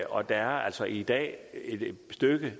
og der er altså i dag et stykke